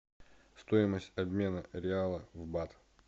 стоимость обмена реала в бат